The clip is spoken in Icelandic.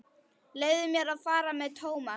Leyfðu mér að fara með Thomas.